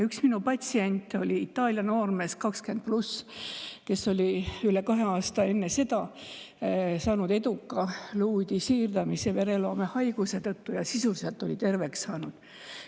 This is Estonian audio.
Üks minu patsient oli Itaalia noormees 20+, kes oli üle kahe aasta enne seda saanud vereloomehaiguse tõttu eduka luuüdi siirdamise ja sisuliselt terveks saanud.